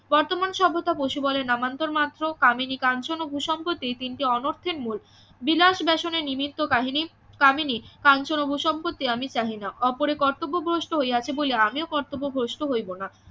বর্তমান সভ্যতা বশীবল এর নামান্তর মাত্র কামিনী কাঞ্চন ও ভূসম্পত্তি তিনটি অনর্থের মূল বিলাস বেসনে নিমিত্ত কাহিনী কামিনী কাঞ্চন ও ভূসম্পত্তি আমি চাহি না ওপরে কতব্য ভ্রষ্ট হইয়াছে বলিয়া আমিও কর্তব্য ভ্রষ্ট হইবো না